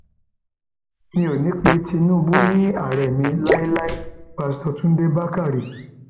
mi ò ní í pe tinubu ni ààrẹ mi láéláé páṣítọ túnde bàkárẹ